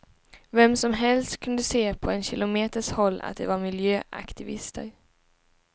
Vem som helst kunde se på en kilometers håll att de var miljöaktivister.